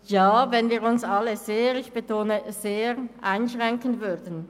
– Ja, wenn wir uns alle – ich betone: uns alle – sehr einschränken würden.